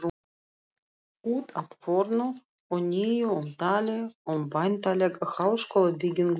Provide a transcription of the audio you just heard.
Út af fornu og nýju umtali um væntanlega háskólabyggingu í